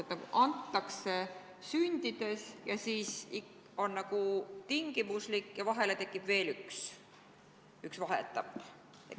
Kodakondsus antakse küll kohe pärast sündi, aga siis see on nagu tingimuslik ja tekib veel üks vaheetapp.